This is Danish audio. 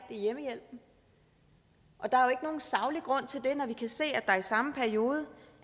hjemmehjælpen og der saglig grund til det når vi kan se at der i samme periode